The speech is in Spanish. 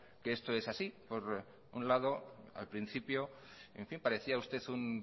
que esto es así por un lado al principio parecía usted un